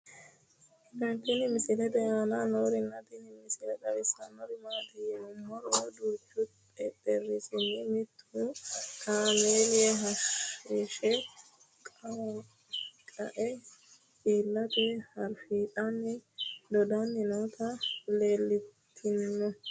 tenne misile aana noorina tini misile xawissannori maati yinummoro duuchu xexerisinna mittu kaameeli hashsha qae iillittara ariiffatte doddanni nootti leelittanno